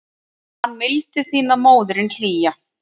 Man mildi þína móðirin hlýja.